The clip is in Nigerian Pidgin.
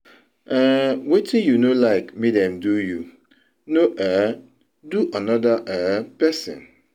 um wetin yu no lyk mek dem do yu, no um do anoda um pesin